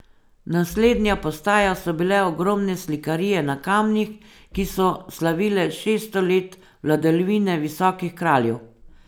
Naslednja postaja so bile ogromne slikarije na kamnih, ki so slavile šeststo let vladavine visokih kraljev.